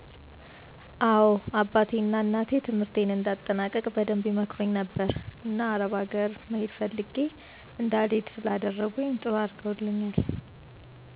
አዎ አባቴ ና እናቴ ትምህርትን እንድአጠናቅቅ በደንብ ይመክሩኝ ነበር። እና አረብ አገር መሄድ ፈልግ እንዳልሄድ ስላደረኝ ጥሩ አድርገውልኛል።